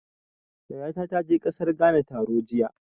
Yayata ta je ƙasar Ghana taro jiya.